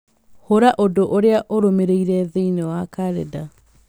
hũra ũndũ ũrĩa ũrũmĩrĩire thĩinĩ wa kalenda